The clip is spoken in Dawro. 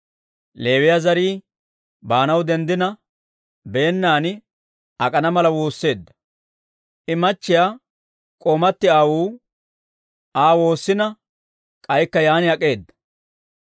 Leewiyaa zarii baanaw denddina, beennan ak'ana mala woosseedda; I akkiyaa k'oomatti aawuu Aa woossina, k'aykka yaan ak'eedda.